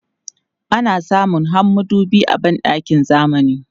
Ana samun har madubi a ban ɗakin zamani.